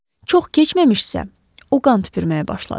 Çox keçməmişsə, o qan tüpürməyə başladı.